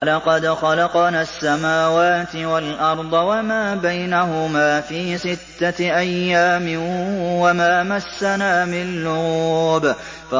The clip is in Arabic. وَلَقَدْ خَلَقْنَا السَّمَاوَاتِ وَالْأَرْضَ وَمَا بَيْنَهُمَا فِي سِتَّةِ أَيَّامٍ وَمَا مَسَّنَا مِن لُّغُوبٍ